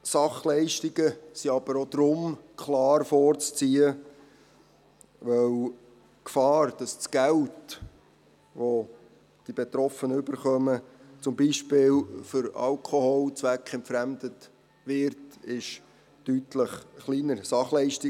Sachleistungen sind aber auch deshalb klar vorzuziehen, weil die Gefahr, dass das Geld, welches die Betroffenen erhalten, zum Beispiel für Alkohol zweckentfremdet wird, deutlich kleiner ist.